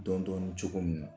Dɔn dɔni cogo min na